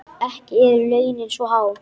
Ekki eru launin svo há.